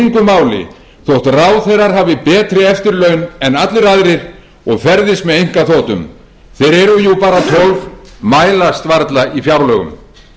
þótt ráðherrar hafi betri eftirlaun en allir aðrir og ferðist með einkaþotum þeir eru jú bara tólf mælast varla í fjárlögum